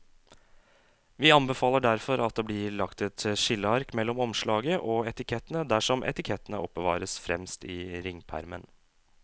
Vi anbefaler derfor at det blir lagt et skilleark mellom omslaget og etikettene dersom etikettene oppbevares fremst i ringpermen.